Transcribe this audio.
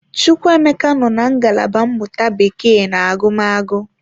Chukwuemeka nọ na ngalaba mmụta Bekee na agụmagụ.